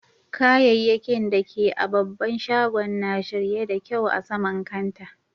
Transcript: Kayakkin da ke a'babban shagon na shirye da kyau a sama'n kantaa.